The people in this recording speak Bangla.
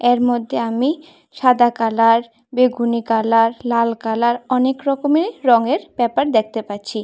এর মধ্যে আমি সাদা কালার বেগুনি কালার লাল কালার অনেক রকমের রংয়ের পেপার দেখতে পাচ্ছি।